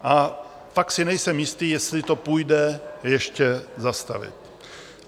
A pak si nejsem jistý, jestli to půjde ještě zastavit.